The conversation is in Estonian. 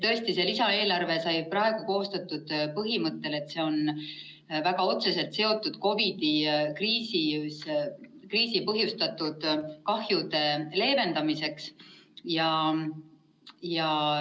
Tõesti, see lisaeelarve sai koostatud põhimõttel, et see on väga otseselt seotud COVID‑i kriisist põhjustatud kahjude leevendamisega.